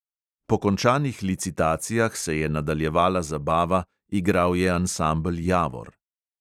Po končanih licitacijah se je nadaljevala zabava, igral je ansambel javor.